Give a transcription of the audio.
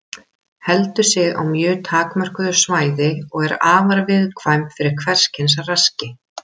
Heldur sig á mjög takmörkuðu svæði og er afar viðkvæm fyrir hvers kyns raski.